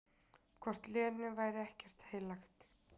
Hvort Lenu væri ekkert heilagt?